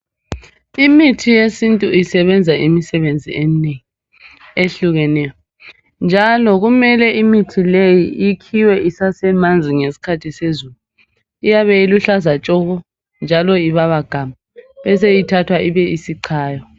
Imithi yesintu isebenza imisebenzi eminengi ehlukeneyo njalo kumele imithi leyi ikhiwe isasemanzi ngesikhathi sezulu iyabe iluhlaza tshoko njalo ibaba gamu beseyithathwa ibe isicayiwa.